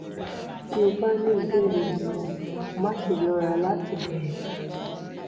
bí o bá ní ìbéèrè mìíràn má ṣe lọ́ra láti béèrè